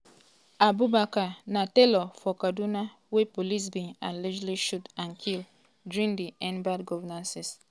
abubakar na tailor for kaduna wey police bin allegedly shoot and kll during di end bad governance protest wey happun for august.